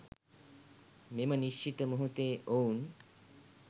මෙම නිශ්චිත මොහොතේ ඔවුන්